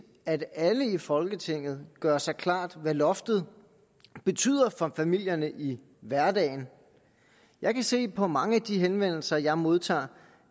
at alle i folketinget gør sig klart hvad loftet betyder for familierne i hverdagen jeg kan se på mange af de henvendelser jeg modtager